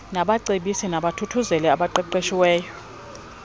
nabacebisi nabathuthuzeli abaqeqeshiweyo